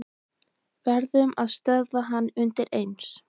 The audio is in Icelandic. Verðum að stöðva hann undireins.